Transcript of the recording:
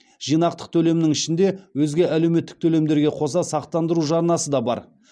жинақтық төлемнің ішінде өзге әлеуметтік төлемдерге қоса сақтандыру жарнасы да бар